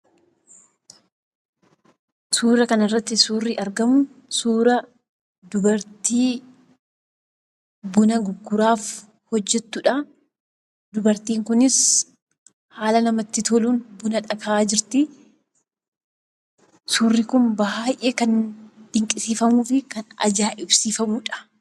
Suuraa kanarratti kan argamu suuraa dubartii buna gurguraaf hojjattudha. Dubartiin kunis haala namatti toluun buna akaayaa jirti. Suurri kun kan baay'ee dinqisiifamuu fi ajaa'ibsiifamuudha.